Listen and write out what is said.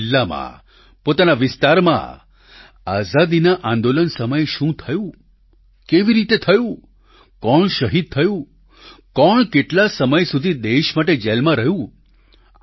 પોતાના જિલ્લામાં પોતાના વિસ્તારમાં આઝાદીના આંદોલન સમયે શું થયું કેવી રીતે થયું કોણ શહીદ થયું કોણ કેટલા સમય સુધી દેશ માટે જેલમાં રહ્યું